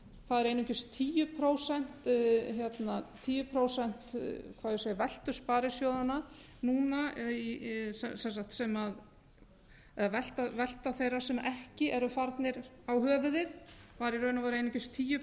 það er einungis tíu prósent hvað á ég að segja veltu sparisjóðanna núna sem eða velta þeirra sem ekki eru farnir á höfuðið var í raun og veru einungis tíu